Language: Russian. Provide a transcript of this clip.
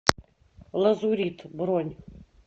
лазурит бронь